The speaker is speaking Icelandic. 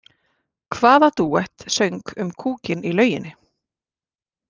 Hvaða dúett söng um kúkinn í lauginni?